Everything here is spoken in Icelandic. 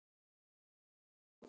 Leikhús og Óperur